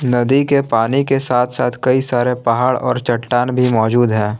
नदी के पानी के साथ साथ कई सारे पहाड़ और चट्टान भी मौजूद हैं।